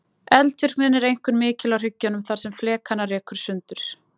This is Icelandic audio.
Eldvirknin er einkum mikil á hryggjunum þar sem flekana rekur sundur.